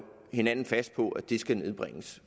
hinanden fast på at de skal nedbringes